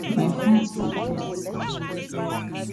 my fans go do dat give me